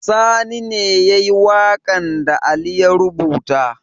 Sani ne yayi waƙen da ali ya rubuta